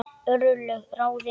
Örlög ráðin